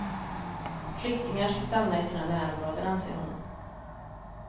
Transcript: Flyktingar ska stanna i sina närområden, anser hon.